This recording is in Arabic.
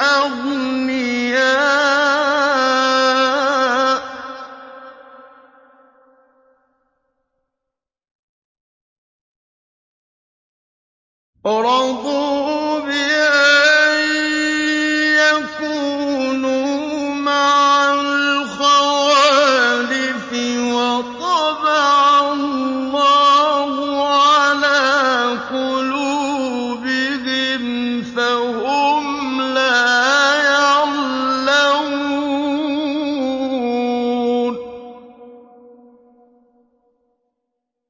أَغْنِيَاءُ ۚ رَضُوا بِأَن يَكُونُوا مَعَ الْخَوَالِفِ وَطَبَعَ اللَّهُ عَلَىٰ قُلُوبِهِمْ فَهُمْ لَا يَعْلَمُونَ